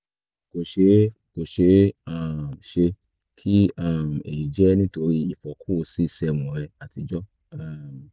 kò ṣeé kò ṣeé um ṣe kí um èyí jẹ́ nítorí ìfọ́kù c seven rẹ àtijọ́ um